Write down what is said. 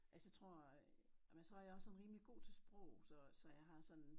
Altså jeg tror men så jeg også sådan rimelig god til sprog så så jeg har sådan